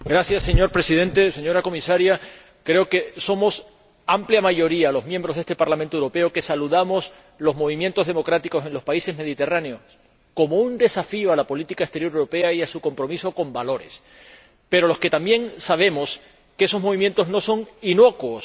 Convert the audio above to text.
Señor Presidente, señora Comisaria, creo que somos amplia mayoría los miembros de este Parlamento Europeo que saludamos los movimientos democráticos en los países mediterráneos como un desafío a la política exterior europea y a su compromiso con valores, pero también los que sabemos que esos movimientos no son inocuos.